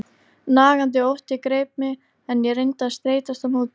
Nagandi ótti greip mig, en ég reyndi að streitast á móti.